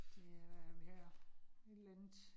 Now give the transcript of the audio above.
Ja, hvad har vi her? Et eller andet